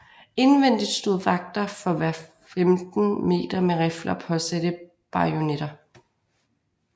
Indvendigt stod vagter for hver femten meter med rifler og påsatte bajonetter